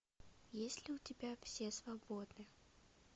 есть ли у тебя все свободны